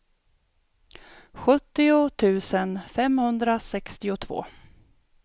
sjuttio tusen femhundrasextiotvå